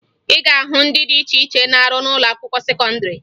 Ị ga-ahụ ndị dị iche iche na-arụ n'ụlọakwụkwọ sekọndịrị